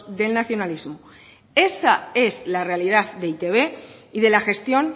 del nacionalismo esa es la realidad de e i te be y de la gestión